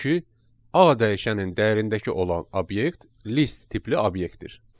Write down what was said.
Çünki A dəyişənin dəyərindəki olan obyekt list tipli obyektdir.